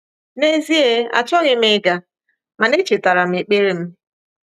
N’ezie, achọghị m ịga, mana echetara m ekpere m.